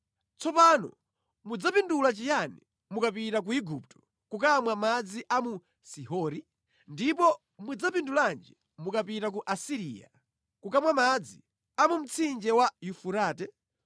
Tsopano mudzapindula chiyani mukapita ku Igupto, kukamwa madzi a mu Sihori? Ndipo mudzapindulanji mukapita ku Asiriya, kukamwa madzi a mu mtsinje wa Yufurate?